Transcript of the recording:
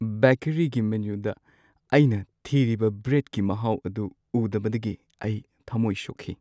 ꯕꯦꯀꯔꯤꯒꯤ ꯃꯦꯅꯨꯗ ꯑꯩꯅ ꯊꯤꯔꯤꯕ ꯕ꯭ꯔꯦꯗꯀꯤ ꯃꯍꯥꯎ ꯑꯗꯨ ꯎꯗꯕꯗꯒꯤ ꯑꯩ ꯊꯝꯃꯣꯏ ꯁꯣꯛꯈꯤ꯫